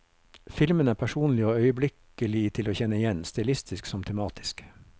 Filmene er personlige og øyeblikkelig til å kjenne igjen, stilistisk som tematisk.